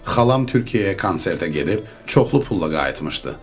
Xalam Türkiyəyə konsertə gedib çoxlu pulla qayıtmışdı.